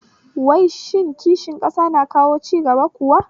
Wai shin kishin ƙasa na kawo cigaba kuwa?